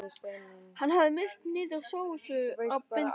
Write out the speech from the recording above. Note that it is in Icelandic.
Hann hafði misst niður sósu á bindið.